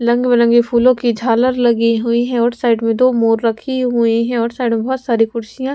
lung बिरंगे फूलों की झालर लगी हुई है और साइड में दो मोर रखी हुई हैं और साइड में बहोत सारी कुर्सियां --